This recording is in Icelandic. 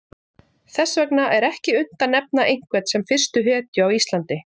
Þess vegna er ekki unnt að nefna einhvern sem fyrstu hetju á Íslandi.